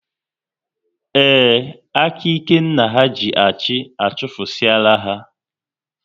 Ee, aka ike nna ha ji achị, achufusie la ha